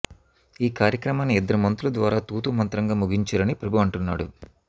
ఈ కార్యక్రమాన్ని ఇద్దరి మంత్రుల ద్వారా తూతూ మంత్రంగా ముగించారని ప్రభు అంటున్నాడు